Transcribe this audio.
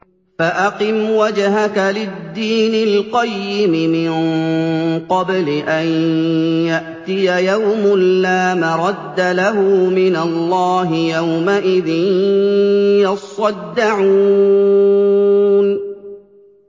فَأَقِمْ وَجْهَكَ لِلدِّينِ الْقَيِّمِ مِن قَبْلِ أَن يَأْتِيَ يَوْمٌ لَّا مَرَدَّ لَهُ مِنَ اللَّهِ ۖ يَوْمَئِذٍ يَصَّدَّعُونَ